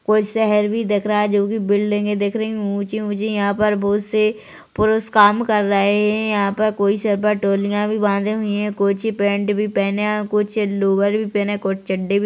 कोई शहर भी दिख रहा है जोकि बिल्डिंगे भी दिख रही है ऊँची- ऊंची यहाँ पे बहुत से पुरुष काम कर रहे है यहाँ पर कोई सिर पर टोलियाँ भी बंधे हुए है कुछ पेंट भी पेहने है कुछ लोअर भी पेहने है कुछ चड्डे भी --